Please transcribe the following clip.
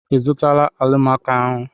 I zụtala alimako ahụ?